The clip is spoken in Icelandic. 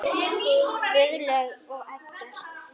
Guðlaug og Eggert.